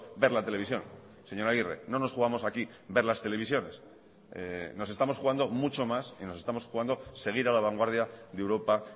ver la televisión señor aguirre no nos jugamos aquí ver las televisiones nos estamos jugando mucho más y nos estamos jugando seguir a la vanguardia de europa